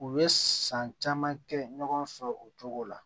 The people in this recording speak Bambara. U bɛ san caman kɛ ɲɔgɔn fɛ o cogo la